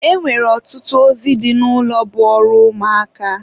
E nwere ọtụtụ ozi dị n'ụlọ bụ ọrụ ụmụaka.